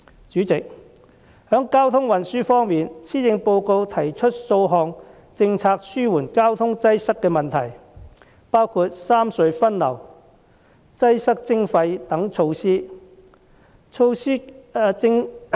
主席，在交通運輸方面，施政報告提出數項政策紓緩交通擠塞的問題，包括三隧分流，擠塞徵費等措施。